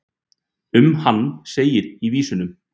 um hann segir í vísunum